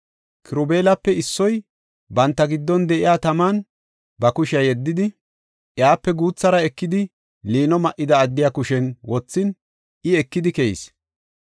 Kirubeelape issoy banta giddon de7iya taman ba kushiya yeddidi, iyape guuthara ekidi, liino ma7ida addiya kushen wothin, I ekidi keyis.